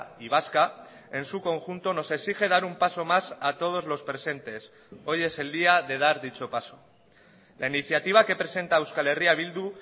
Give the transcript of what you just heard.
y vasca en su conjunto nos exige dar un paso más a todos los presentes hoy es el día de dar dicho paso la iniciativa que presenta euskal herria bildu